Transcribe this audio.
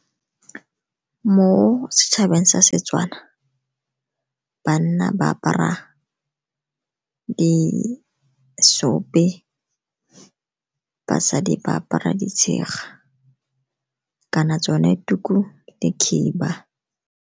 Mo setšhabeng sa Setswana, banna ba apara disope, basadi ba apara ditshega kana tsone tuku le khiba.